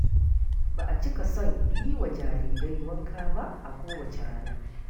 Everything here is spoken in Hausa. Ba a cika son yiwa jarirai wanka ba a kowace rana.